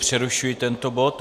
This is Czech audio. Přerušuji tento bod.